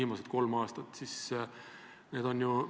Samas olete teie täna siin EAS-ist rääkinud väga positiivses võtmes.